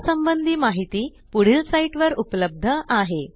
या संबंधी माहिती पुढील साईटवर उपलब्ध आहे